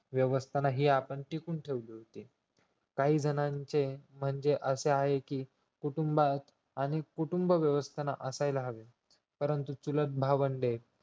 व्य्सवस्थांन हि आपण टिकून ठेवली होती काही जणांचे म्हणजे असे आहे कि कुटुंबात आणि कुटुंब व्यवस्थान असायला हवी परंतु चुलत भावंडे